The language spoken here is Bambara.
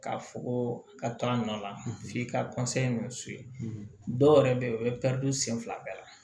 K'a fɔ ko a ka to a nɔ la f'i ka ni dɔw yɛrɛ bɛ yen u bɛ don sen fila bɛɛ la